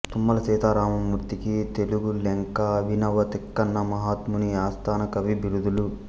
తుమ్మల సీతారామమూర్తికి తెనుగు లెంక అభినవ తిక్కన మహాత్ముని ఆస్థానకవి బిరుదులు